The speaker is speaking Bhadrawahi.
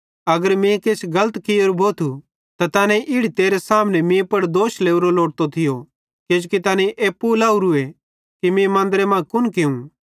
अगर मीं किछ गलत कियोरू भोथू त तैनेईं इड़ी तेरे सामने मीं पुड़ दोष लोरो लोड़तो थियो किजोकि तैनेईं एप्पू लावरूए कि मीं मन्दरे मां कुन कियूं